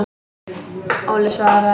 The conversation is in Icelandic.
Óli svaraði ekki.